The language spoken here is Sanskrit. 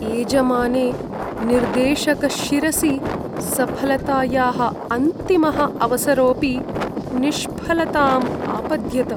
एजमाने निर्देशकशिरसि सफलतायाः अन्तिमः अवसरो‍ऽपि निष्फलताम् आपद्यत।